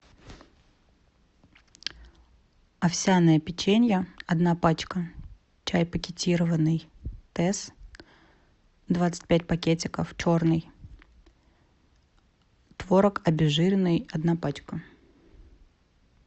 овсяное печенье одна пачка чай пакетированный тесс двадцать пять пакетиков черный творог обезжиренный одна пачка